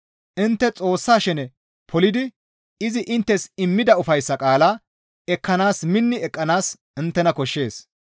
Intte Xoossa shene polidi izi inttes immida ufayssa qaalaa ekkanaas minni eqqanaas inttena koshshees.